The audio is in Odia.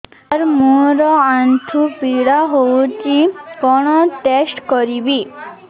ସାର ମୋର ଆଣ୍ଠୁ ପୀଡା ହଉଚି କଣ ଟେଷ୍ଟ କରିବି